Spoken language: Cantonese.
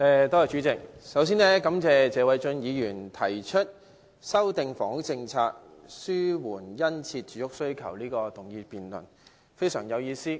代理主席，首先感謝謝偉俊議員提出"制訂房屋政策紓緩殷切住屋需求"的議案，這項辯論非常有意思。